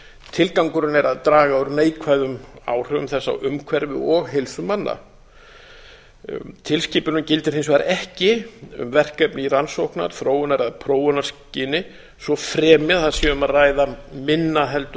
tilgangurinn er að draga úr neikvæðum áhrifum þess á umhverfi og heilsu manna tilskipunin gildir hins vegar ekki um verkefni í rannsóknar þróunar eða prófunarskyni svo fremi að það sé um að ræða minna